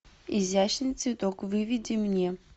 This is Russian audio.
изящный цветок выведи мне